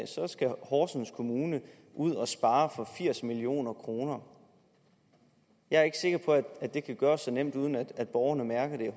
horsens kommune ud at spare for firs million kroner jeg er ikke sikker på at det kan gøres så nemt uden at borgerne mærker det